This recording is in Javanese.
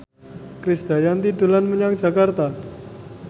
Krisdayanti dolan menyang Jakarta